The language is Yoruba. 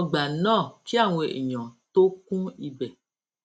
ọgbà náà kí àwọn èèyàn tó kún ibè